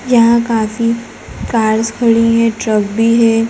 यहां काफी कार्स खड़ी है ट्रक भी है।